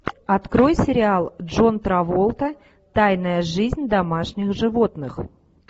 открой сериал джон траволта тайная жизнь домашних животных